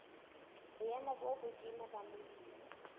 boemo bo hodimo la molemi